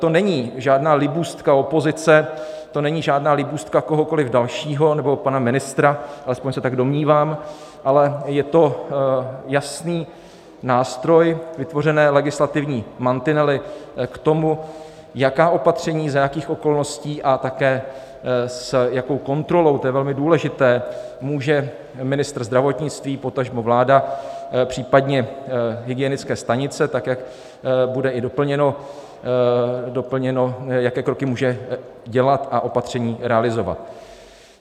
To není žádná libůstka opozice, to není žádná libůstka kohokoliv dalšího, nebo pana ministra, alespoň se tak domnívám, ale je to jasný nástroj, vytvořené legislativní mantinely k tomu, jaká opatření, za jakých okolností a také s jakou kontrolou - to je velmi důležité - může ministr zdravotnictví, potažmo vláda, případně hygienické stanice, tak jak bude i doplněno, jaké kroky může dělat a opatření realizovat.